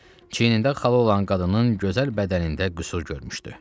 Çiyinində xalı olan qadının gözəl bədənində qüsur görmüşdü.